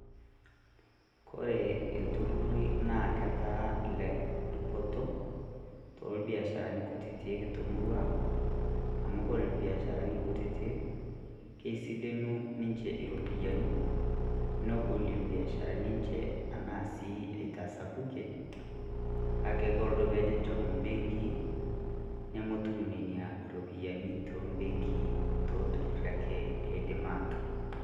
Ore ilturrurri naa ketaa ele dupoto tolbiasharani kutitik temurua ang' amu kore ilbiasharani kutitik keisilenu ninche iropiyiani, nebolie ibiasharani enche enaa sii eitasapukie, kake kore pejo enchom ebenki nemetum Nena ropiyiani toobenkii tolturrurri ake eidim aatum.